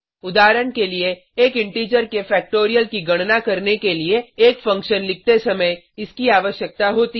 उदाहरण के लिए एक इंटीजर के फ़ैक्टोरियल की गणना करने के लिए एक फंक्शन लिखते समय इसकी आवश्यकता होती है